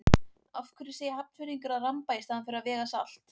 Af hverju segja Hafnfirðingar að ramba í staðinn fyrir að vega salt?